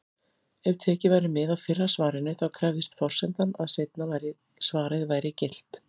Ef tekið væri mið af fyrra svarinu, þá krefðist forsendan að seinna svarið væri gilt.